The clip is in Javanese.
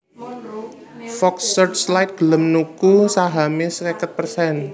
Fox Searchlight gelem nuku sahamé seket persen